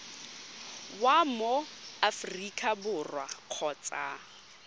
wa mo aforika borwa kgotsa